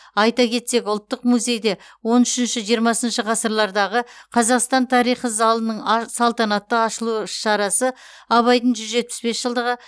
айта кетсек ұлттық музейде он үшінші жиырмасыншы ғасырлардағы қазақстан тарихы залының салтанатты ашылу іс шарасы абайдың жүз жетпіс бес жылдығы